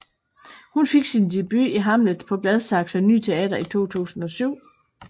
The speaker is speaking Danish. Hun fik sin debut i Hamlet på Gladsaxe Ny Teater i 2007